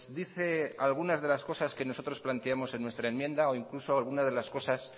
dice algunas de las cosas que nosotros planteamos en nuestra enmienda o incluso alguna de las cosas